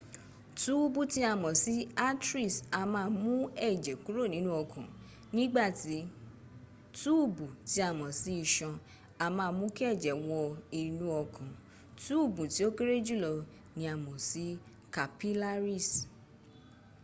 túùbù tí a mọ̀ sí arteries a máa mú ẹ̀jẹ̀ kúrò nínú ọkàn nígbàtí túùbù tí a mọ̀ sí isan a máa mú kí ẹ̀jẹ̀ wọ inú ọkàn túùbù tí ó kéré jùlọ ni a mọ̀ sí capillaries